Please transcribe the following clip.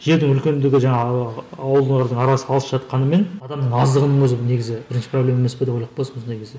жердің үлкендігі жаңағы олардың арасы алыс жатқанымен адамның аздығының өзі негізі бірінші проблема емес пе деп ойлап қаласың осындай кезде